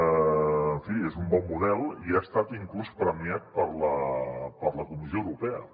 en fi és un bon model i ha estat inclús premiat per la comissió europea